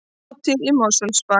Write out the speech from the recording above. Hátíð í Mosfellsbæ